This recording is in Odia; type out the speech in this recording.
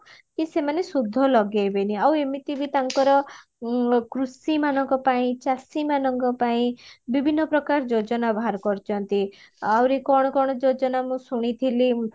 କି ସେମାନ ସୁଧ ଲଗେଇବେନି ଆଉ ଏମିତି ବି ତାଙ୍କର କୃଷି ମାନଙ୍କ ପାଇଁ ଚାଷୀ ମାନଙ୍କ ପାଇଁ ବିଭିନ୍ନ ପ୍ରକାର ଯୋଜନା ବାହାର କରିଚନ୍ତି ଆଉରି କଣ କଣ ଯୋଜନା ମୁଁ ଶୁଣିଥିଲି